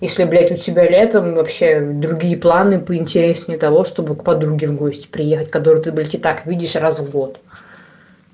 если блядь у тебя летом вообще другие планы поинтереснее того чтобы к подруге в гости приехать которую ты блять и так видишь раз в год